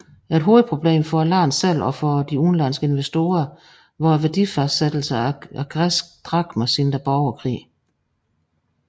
Et hovedproblem for landet selv og for udenlandske investorer var værdifastsættelsen af græske drakmer siden borgerkrigen